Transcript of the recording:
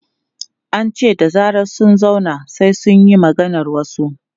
An ce da zarar sun zauna, sai su yi maganar wasu.